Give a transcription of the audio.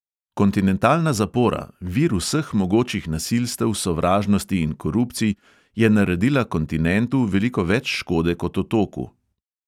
Kontinentalna zapora, vir vseh mogočih nasilstev, sovražnosti in korupcij, je naredila kontinentu veliko več škode kot otoku.